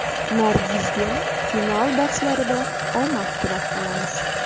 Nargizga final bahslarida omad tilab qolamiz.